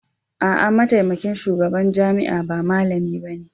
A'a, mataimakin shugaban jami'a ba malami bane